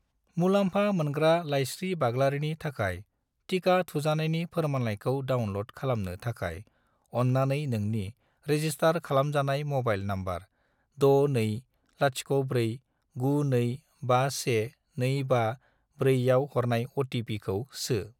मुलामफा मोनग्रा लाइस्रि बाग्लारिनि थाखाय टिका थुजानायनि फोरमानलाइखौ डाउनल'ड खालामनो थाखाय, अन्नानै नोंनि रेजिसटार खालामजानाय म'बाइल नम्बर 62049251254 आव हरनाय अ.टि.पि.खौ सो|